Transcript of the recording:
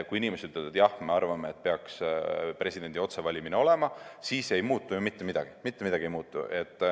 Kui inimesed ütlevad, et jah, me arvame, et peaks presidendi otsevalimine olema, siis ei muutu ju mitte midagi.